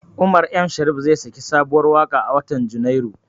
Umar Sharif zai saki sabuwar waƙa a watan Junairu.